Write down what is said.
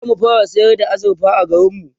zamu fara sayar da azurfa a garinmu